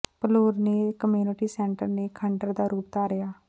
ਭਲੂਰ ਦੇ community centre ਨੇ ਖੰਡਰ ਦਾ ਰੂਪ ਧਾਰਿਆ